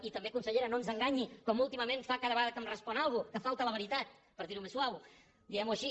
i també consellera no ens enganyi com últimament fa cada vegada que em respon alguna cosa que falta a la veritat per dir ho més suau diguem ho així